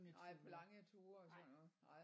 Nej på lange ture og sådan noget nej